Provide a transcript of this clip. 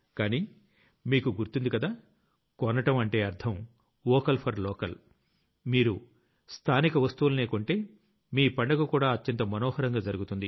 కానీ మీకు గుర్తుంది కదా కొనడం అంటే అర్థం వోకల్ ఫోర్ లోకల్ | మీరు స్థానిక వస్తువుల్నే కొంటే మీ పండగ కూడా అత్యంత మనోహరంగా జరుగుతుంది